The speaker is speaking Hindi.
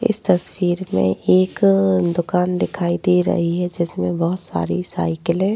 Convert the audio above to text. इस तस्वीर में एक दुकान दिखाई दे रही है जिसमे बहोत सारी साइकिले --